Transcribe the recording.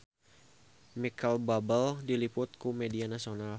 Micheal Bubble diliput ku media nasional